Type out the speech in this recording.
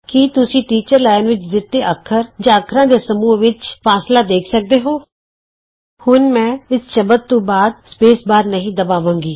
ਕੀ ਤੁਸੀਂ teachers line ਵਿਚ ਦਿੱਤੇ ਅੱਖਰ ਜਾਂ ਅੱਖਰਾਂ ਦੇ ਸਮੂਹ ਵਿੱਚਲਾ ਫਾਸਲਾ ਦੇਖ ਸਕਦੇ ਹੋ ਹੁਣ ਮੈਂ ਇਸ ਸ਼ਬਦ ਤੋਂ ਬਾਅਦ ਸਪੇਸ ਬਾਰ ਨਹੀਂ ਦਬਾਵਾਂਗਾ